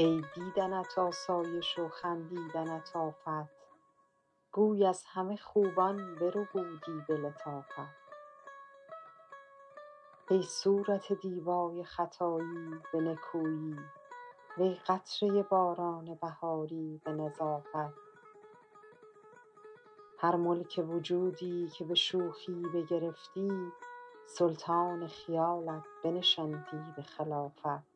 ای دیدنت آسایش و خندیدنت آفت گوی از همه خوبان بربودی به لطافت ای صورت دیبای خطایی به نکویی وی قطره باران بهاری به نظافت هر ملک وجودی که به شوخی بگرفتی سلطان خیالت بنشاندی به خلافت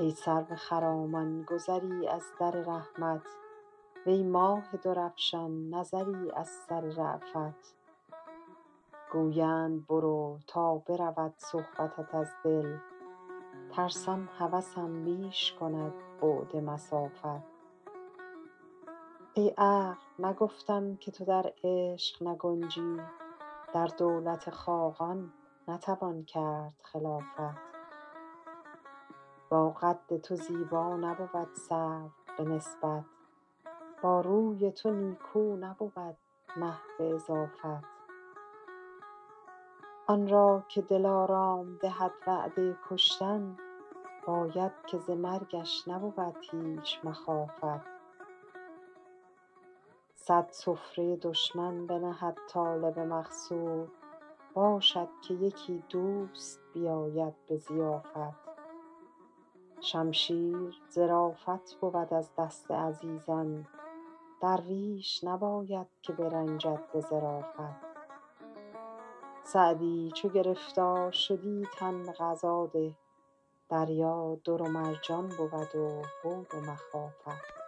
ای سرو خرامان گذری از در رحمت وی ماه درفشان نظری از سر رأفت گویند برو تا برود صحبتت از دل ترسم هوسم بیش کند بعد مسافت ای عقل نگفتم که تو در عشق نگنجی در دولت خاقان نتوان کرد خلافت با قد تو زیبا نبود سرو به نسبت با روی تو نیکو نبود مه به اضافت آن را که دلارام دهد وعده کشتن باید که ز مرگش نبود هیچ مخافت صد سفره دشمن بنهد طالب مقصود باشد که یکی دوست بیاید به ضیافت شمشیر ظرافت بود از دست عزیزان درویش نباید که برنجد به ظرافت سعدی چو گرفتار شدی تن به قضا ده دریا در و مرجان بود و هول و مخافت